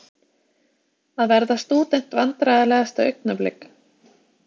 Að verða stúdent Vandræðalegasta augnablik?